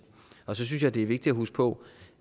og så synes jeg det er vigtigt at huske på